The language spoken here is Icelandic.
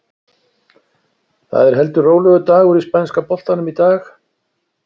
Það er heldur rólegur dagur í spænska boltanum í dag.